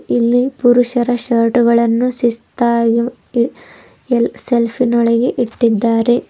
ಇಲ್ಲಿ ಪುರುಷರ ಶರ್ಟುಗಳನ್ನು ಶಿಸ್ತಾಗಿ ಮಂ ಹಿ ಎಲ್ ಸೆಲ್ಪಿನೊಳಗೆ ಇಟ್ಟಿದ್ದಾರೆ.